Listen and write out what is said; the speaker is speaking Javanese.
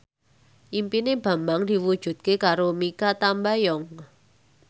impine Bambang diwujudke karo Mikha Tambayong